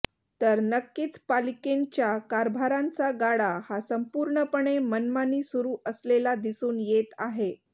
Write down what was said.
तर नक्कींच पालिकेंच्या कारभारांचा गाडा हा संपूर्णपणे मनमानी सुरू असलेला दिसून येत आहे